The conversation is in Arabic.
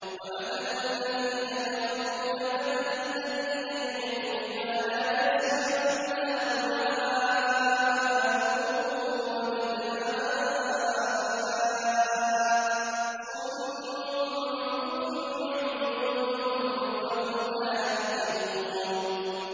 وَمَثَلُ الَّذِينَ كَفَرُوا كَمَثَلِ الَّذِي يَنْعِقُ بِمَا لَا يَسْمَعُ إِلَّا دُعَاءً وَنِدَاءً ۚ صُمٌّ بُكْمٌ عُمْيٌ فَهُمْ لَا يَعْقِلُونَ